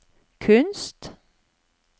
kunst